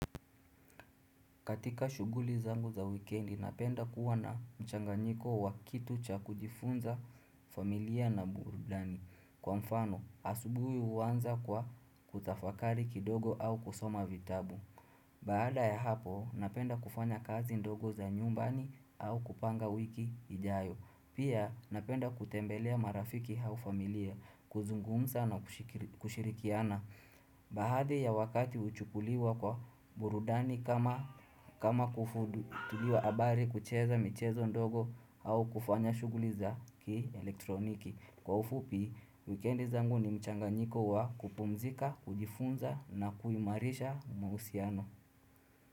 Katika shughuli zangu za wikendi, napenda kuwa na mchanganyiko wa kitu cha kujifunza, familia na burudani. Kwa mfano, asubuhi uaanza kwa kutafakari kidogo au kusoma vitabu. Baada ya hapo, napenda kufanya kazi ndogo za nyumbani au kupanga wiki hijayo. Pia napenda kutembelea marafiki au familia, kuzungumza na kushirikiana. Baadhi ya wakati uchukuliwa kwa burudani kama, kufuatilia habari, kucheza michezo ndogo au kufanya shughuli za ki elektroniki. Kwa ufupi, wikendi zangu ni mchanganyiko wa kupumzika, kujifunza na kuimarisha mahusiano.